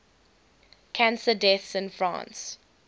cancer deaths in france